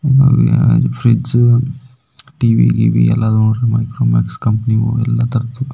fridge TV ಗಿವಿ ಎಲ್ಲ ನೋಡ್ರಿ ಮೈಕ್ರೋಮ್ಯಾಕ್ಸ್ ಕಂಪನಿ ನೋಡ್ರಿ --